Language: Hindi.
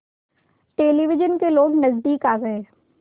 टेलिविज़न के लोग नज़दीक आ गए